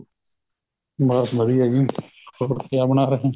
ਬੱਸ ਵਧੀਆ ਜੀ ਹੋਰ ਕਿਆ ਬਣਾ ਰਹੇ ਹੋ